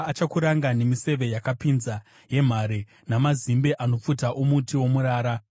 Achakuranga nemiseve yakapinza yemhare, namazimbe anopfuta omuti womurara.